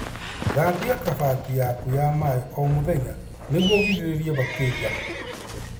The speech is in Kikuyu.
Thambia kabati yaku ya maĩ o mũthenya nĩguo ũgirĩrĩrie bakteria.